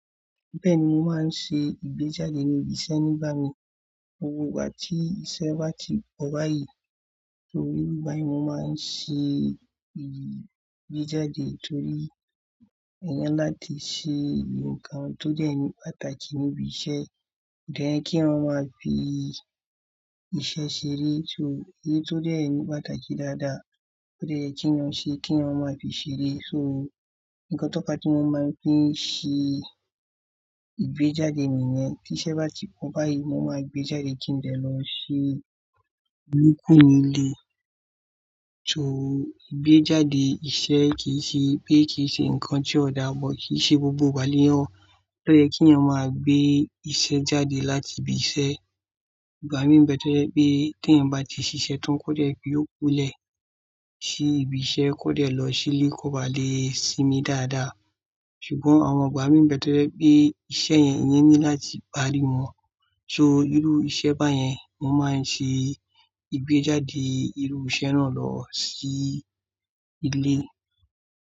Bẹ́ẹ̀ni, mo máa ń ṣe ìgbéjáde ní ibi iṣẹ́ nígbà mí. Gbogbó ìgbà ti iṣẹ́ bá ti pọ̀ báyìí, nígbà yí mo máa ń ṣe ìgbéjáde torí, èyàn láti ṣe nǹkan tó jẹ́ ohun pàtàkì níbi iṣẹ́. Then kí èèyan máa fi iṣẹ́ ṣeré. So, èyí tó jẹ́ ohun pàtàkì dáadáa, ó dẹ́ yẹ kí wọn ṣe kí wọn máa fi ṣeré. So, nǹkan tó fa tí mo máa ń fi ṣe ìgbéjáde nìyẹn. Tí iṣẹ́ bá ti pọ̀ báyìí, mo máa gbéjáde kí n dẹ lọ ṣe tokù nílé. So, ìgbéjáde iṣẹ́ kì í ṣe pé kì í ṣe nǹkan tí ó dà but, kì í ṣe gbogbo ìgbà lẹ́yàn Ó yẹ́ kí èniyàn máa gbé iṣẹ́ jáde láti ibi iṣẹ́. Igba mi ń bẹ̀ tò jẹ wipé tí ẹ̀yin bá ti ṣiṣẹ́ tán kó dẹ́ pé iyóòkú lẹ̀ sí ibi iṣẹ́, kó dẹ́ lọ sílé kó bá le sinmi dáadáa. Ṣùgbọ́n àwọn igba mi ń bẹ̀ to jẹ́ pé iṣẹ́ yẹn, eniyan need láti parí wọn. So, irú ìṣe báyẹn, mo máa ń ṣe ìgbéjáde irú iṣẹ́ náà lọ sí ilé.